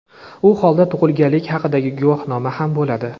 u holda tug‘ilganlik haqidagi guvohnoma ham bo‘ladi.